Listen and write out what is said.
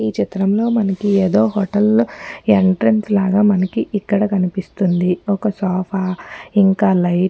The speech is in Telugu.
ఈ చిత్రంలో మనకీయేదో హోటల్ లో ఎంట్రెన్స్ లాగా మనకి ఇక్కడ కనిపిస్తోంది ఒక్కసోఫా ఇంకా లైట్ --